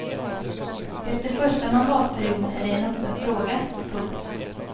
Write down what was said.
Efter första mandatperioden är det en öppen fråga. punkt